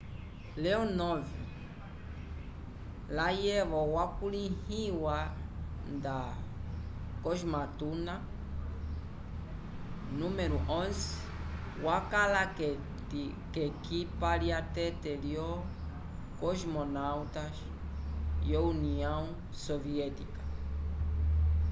leonov layevo wakulĩhiwa nda cosmonauta nº 11” wakala k’ekipa lyatete lyolo cosmonautas vyo união soviética